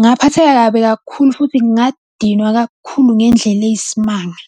Ngaphatheka kabi kakhulu futhi ngadinwa kakhulu ngendlela eyisimanga.